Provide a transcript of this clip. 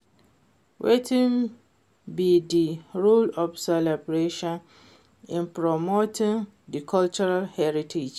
Wetin be di role of celebration in promoting di cultural heritage?